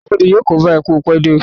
Aṣọ́bọdè yóò kóbá ẹ pé o pẹ́ dé